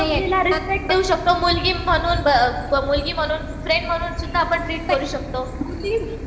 कोणत्या मुलीला रिस्पेक्ट देऊ शकतो मुलगी म्हणून फ्रेंड म्हणून सुद्धा आपण ट्रीट करू शकतो.